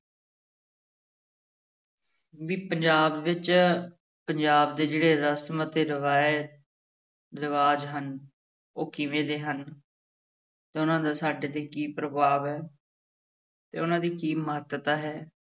ਵੀ ਪੰਜਾਬ ਵਿੱਚ ਪੰਜਾਬ ਦੇ ਜਿਹੜੇ ਰਸ਼ਮ ਅਤੇ ਰਿਵਾਇਤ ਰਿਵਾਜ ਹਨ ਉਹ ਕਿਵੇਂ ਦੇ ਹਨ ਤੇ ਉਹਨਾਂ ਦਾ ਸਾਡੇ ਤੇ ਕੀ ਪ੍ਰਭਾਵ ਹੈ ਤੇ ਉਹਨਾਂ ਦੀ ਕੀ ਮਹੱਤਤਾ ਹੈ,